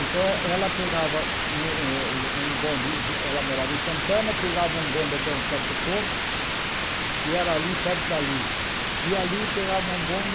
Então eh ela pegava um um bonde, ela morava em Santana, pegava um bonde até um certo ponto, que era ali perto da Luz, e ali pegava um bonde